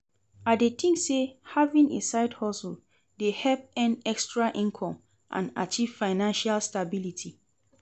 I dey think say having a side-hustle dey help earn extra income and achieve financial stability.